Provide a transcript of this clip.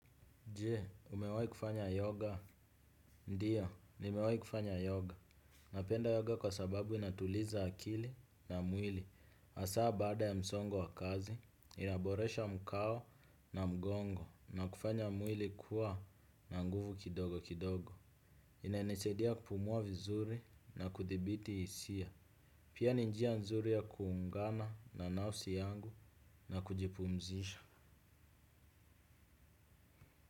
Je, umewahi kufanya yoga? Ndio, nimewahi kufanya yoga. Napenda yoga kwa sababu inatuliza akili na mwili. Hasa bada ya msongo wa kazi, inaboresha mkao na mgongo na kufanya mwili kuwa na nguvu kidogo kidogo. Inanisaidia kupumua vizuri na kudhibiti hisia. Pia ni njia nzuri ya kuungana na nafsi yangu na kujipumzisha.